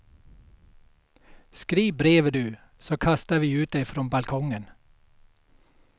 Skriv brevet du, så kastar vi ut det från balkongen.